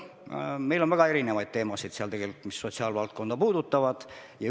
Aga meil on laual väga erinevaid teemasid, mis sotsiaalvaldkonda puudutavad.